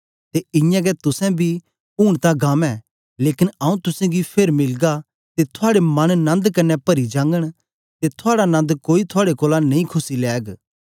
ते इयां गै तुसेंबी ऊन तां गम ऐ लेकन आऊँ तुसेंगी फेर मिलगा ते थुआड़े मन नन्द कन्ने परी जागन ते थुआड़ा नन्द कोई थुआड़े कोलां नेई खुस्सी लैग